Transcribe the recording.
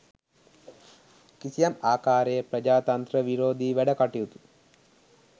කිසියම් ආකාරයේ ප්‍රජාතන්ත්‍ර විරෝධී වැඩකටයුතු